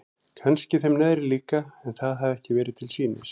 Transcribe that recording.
Kannski þeim neðri líka en það hafði ekki verið til sýnis.